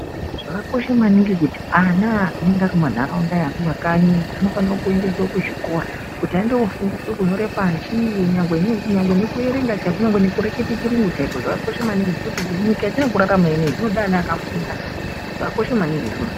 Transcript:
Zvakakosha maningi kuti ana eienda kumantharaunda ekuma kanyi tinofane kuendeswa kuzvikora. Kuti andoofundiswe kunyora pashi kunyangwe nekuerenga chaiko, kunyange nekureketa chiyungu chaiko, kwakakosha maningi ngekuti nyika yetinorarama ineyi yoda vana vakafunda. Zvakakosha maningi izvozvo.